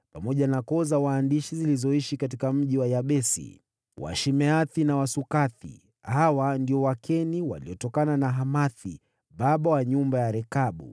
pamoja na koo za waandishi zilizoishi katika mji wa Yabesi: yaani Watirathi, Washimeathi na Wasukathi. Hawa ndio Wakeni waliotokana na Hamathi, baba wa nyumba ya Rekabu.